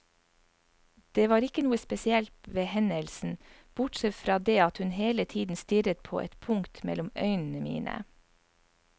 Det var ikke noe spesielt ved hendelsen, bortsett fra det at hun hele tiden stirret på et punkt mellom øynene mine.